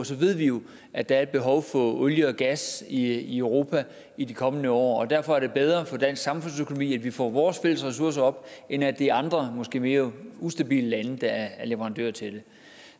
så ved vi jo at der er et behov for olie og gas i europa i de kommende år og derfor er det bedre for dansk samfundsøkonomi at vi får vores fælles ressourcer op end at det er andre og måske mere ustabile lande der er leverandører til det